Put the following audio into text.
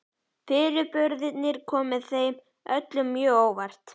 Fyrirburðirnir komu þeim öllum mjög á óvart.